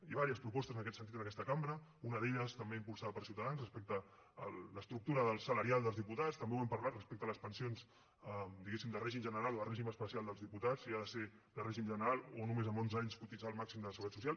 i diverses propostes en aquest sentit en aquesta cambra una d’elles també impulsada per ciutadans respecte a l’estructura salarial dels diputats també ho hem parlat respecte a les pensions diguéssim de règim general o de règim especial dels diputats si ha de ser de règim general o només amb onze anys cotitzar el màxim de la seguretat social